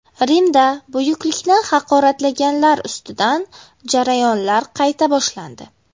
Rimda buyuklikni haqoratlaganlar ustidan jarayonlar qayta boshlandi.